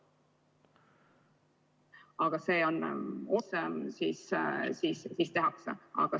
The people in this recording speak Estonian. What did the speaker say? Aga see on otse ... mis tehakse.